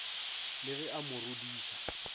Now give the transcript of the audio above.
le ge a mo rodiša